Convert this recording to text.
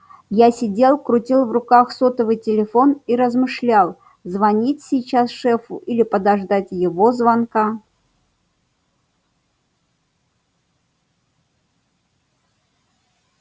я сидел крутил в руках сотовый телефон и размышлял звонить сейчас шефу или подождать его звонка